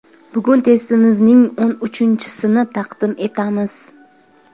Bugun testimizning o‘n uchinchisini taqdim etamiz.